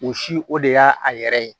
O si o de y'a a yɛrɛ ye